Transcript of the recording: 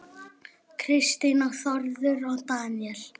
Kristín og Þórður Daníel.